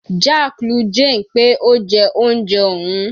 Jack lu Jane pé ó jẹ oúnjẹ òun.